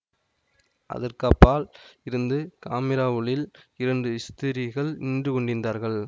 அதற்கப்பால் இருந்த காமிரா உள்ளில் இரண்டு ஸ்திரீகள் நின்று கொண்டிருந்தார்கள்